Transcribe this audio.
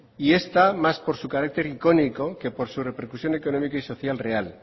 y esta más por su carácter icónico que por su repercusión económica y social real